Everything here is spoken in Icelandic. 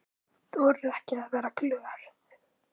Þorir ekki að vera glöð.